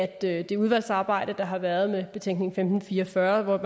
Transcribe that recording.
at det udvalgsarbejde der har været med betænkning femten fire og fyrre